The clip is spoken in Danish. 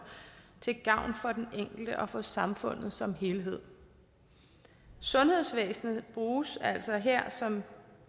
til gavn for den enkelte og for samfundet som helhed sundhedsvæsenet bruges altså her som